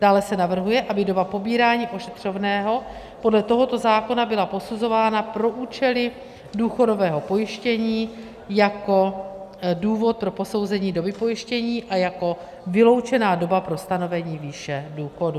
Dále se navrhuje, aby doba pobírání ošetřovného podle tohoto zákona byla posuzována pro účely důchodového pojištění jako důvod pro posouzení doby pojištění a jako vyloučená doba pro stanovení výše důchodu.